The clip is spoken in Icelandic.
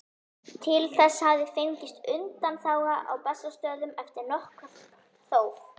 Til þess hafði fengist undanþága á Bessastöðum eftir nokkurt þóf.